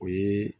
O ye